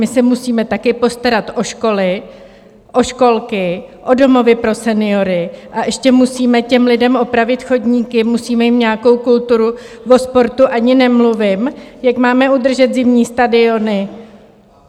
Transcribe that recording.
My se musíme také postarat o školy, o školky, o domovy pro seniory, a ještě musíme těm lidem opravit chodníky, musíme jim nějakou kulturu, o sportu ani nemluvím, jak máme udržet zimní stadiony?